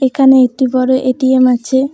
এখানে একটি বড় এ_টি_এম আছে।